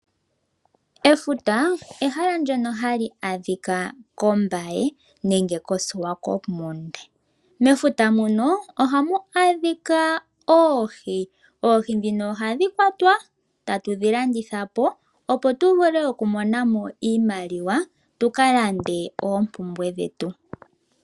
Efuta ehala ndyono hali adhika koOmbaye nenge koSwakopmund. Mefuta muno ohamu adhika oohi, oohi ndhino ohadhi kwatwa etatu dhi landitha po opo tu vule oku mona mo iimaliwa tu ka lande oompumbwe dhetu.